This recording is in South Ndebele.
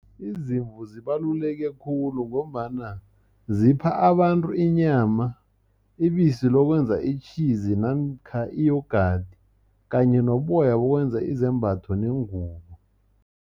Izimvu zibaluleke khulu, ngombana zipha abantu inyama, ibisi lokwenza itjhizi, namkha iyogadi kanye noboya bokwenza izembatho neengubo.